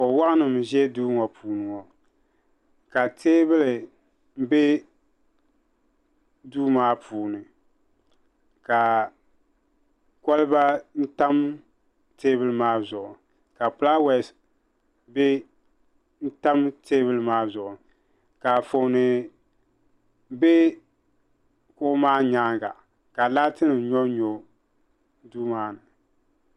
kuɣu waɣanli n ʒɛ duu ŋɔ puuni ŋɔ ka teebuli bɛ duu maa puuni ka kolba tam teebuli maa zuɣu ka fulaawɛs tam teebuli maa zuɣu ka Anfooni bɛ kuɣu maa nyaanga ka laati nim nyonnyo duu maa ni